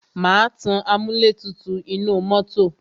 Má tan amúlẹ̀tutù inú mọ́tọ̀.